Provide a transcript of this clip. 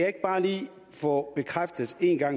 få